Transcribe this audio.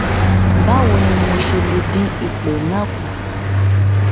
ba wo ni mo se le din ipo na ku